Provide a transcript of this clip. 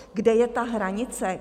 Kde je ta hranice?